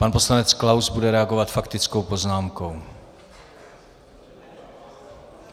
Pan poslanec Klaus bude reagovat faktickou poznámkou.